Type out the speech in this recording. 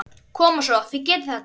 Koma svo, þið getið þetta!